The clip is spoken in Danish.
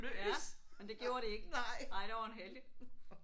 Ja. Men det gjorde de ikke. Nej der var hun heldig